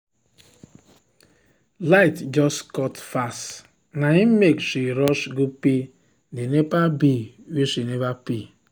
light just cut fast na im make she rush go pay the nepa bill wey she never pay.